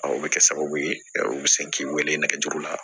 O bɛ kɛ sababu ye u bɛ se k'i wele nɛgɛjuru la